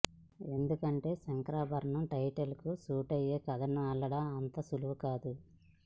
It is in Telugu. ఎందుకంటే శంకరాభరణం టైటిల్ కు సూటయ్యే కథను అల్లడం అంత సులవు కాదు